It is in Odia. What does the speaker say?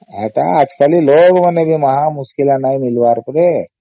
ଏଟା ଆଜି କାଲି ଲୋଗ ମାନେ ବି ମହା ମୁସ୍କିଲ ନାଇଁ ମିଳିବାର କେ